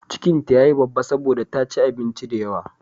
Cikin ta ya yi babba saboda ta ci abinci da yawa.